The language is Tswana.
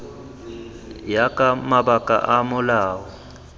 ya ka mabaka a molao